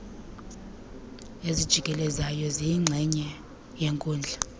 ezijikelezayo ziyingxenye yenkundla